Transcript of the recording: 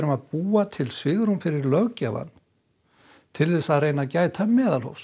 að búa til svigrúm fyrir löggjafann til að reyna að gæta meðalhófs